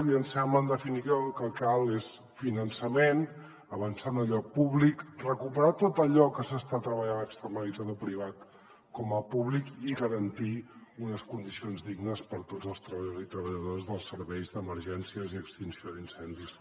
i ens sembla en definitiva que el que cal és finançament avançar en allò públic recuperar tot allò que s’està treballant externalitzat a privat com a públic i garantir unes condicions dignes per a tots els treballadors i treballadores dels serveis d’emergències i extinció d’incendis